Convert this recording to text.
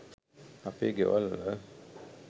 අපේ ගෙවල්වල